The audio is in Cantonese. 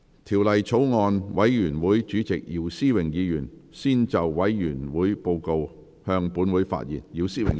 條例草案委員會主席姚思榮議員先就委員會報告，向本會發言。